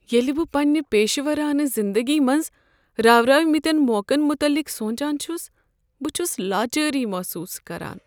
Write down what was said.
ییٚلہ بہٕ پنٛنہ پیشورانہٕ زندگی منٛز راورٲوِمٕتین موقعن متعلق سونٛچان چھُس بہٕ چھُس لاچٲری محسوٗس كران ۔